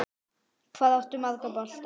Hvað áttu marga bolta?